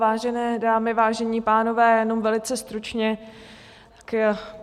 Vážené dámy, vážení pánové, jenom velice stručně.